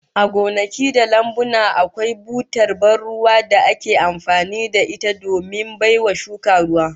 A gonaki da lambuna, akwai butar ban ruwa da ake amfani da ita domin baiwa shuka ruwa